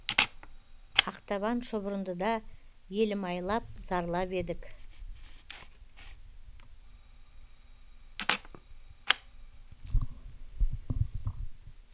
ақтабан шұбырындыда елім айлап зарлап едік